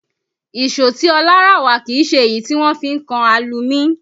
Ìṣó tí Ọlá rà wá kìí ṣe èyí tí wọ́n fi ń kan alumí